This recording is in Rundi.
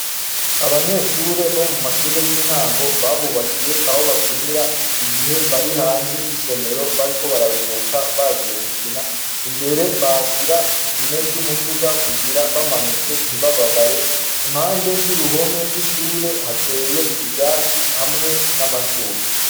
Abanyeshure bo mu mashure y'intango babubakiye aho bakinira igihe bari hanze y'isomero bariko bararuhuka bagiye gukina imbere bahashira ipine ry'umuduga kugira bamanutse ntibababare impande y'uruhome rw'ishure hateye ivyatsi hamwe n'amashugwe.